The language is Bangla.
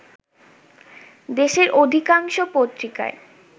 দেশের অধিকাংশ পত্রিকায়